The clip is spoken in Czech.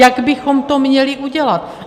Jak bychom to měli udělat?